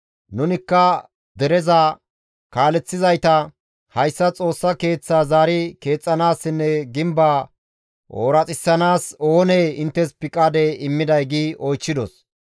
«Nunikka dereza kaaleththizayta, ‹Hayssa Xoossa Keeththaa zaari keexxanaassinne gimbaa ooraxisanaas oonee inttes piqaade immiday?› gi oychchidos.